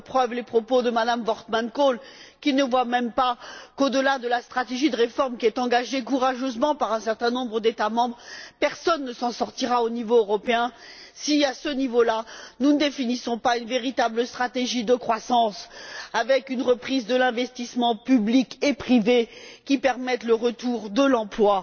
J'en veux pour preuve les propos de Mme Worthman Kool, qui ne voit même pas qu'au delà de la stratégie de réforme engagée courageusement par un certain nombre d'États membres, personne ne s'en sortira au niveau européen si, à ce niveau là, nous ne définissons pas une véritable stratégie de croissance, avec une reprise de l'investissement public et privé qui permette le retour de l'emploi.